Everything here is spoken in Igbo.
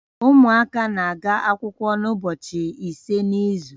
Ụmụaka na-aga akwụkwọ ụbọchị ise n'izu